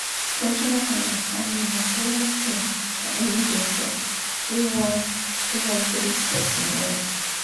cultural understanding na serious thing for any doctor wey wan wey wan treat person well.